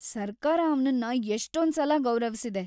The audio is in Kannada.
ಸರ್ಕಾರ ಅವ್ನನ್ನ ಎಷ್ಟೊಂದ್ಸಲ ಗೌರವ್ಸಿದೆ.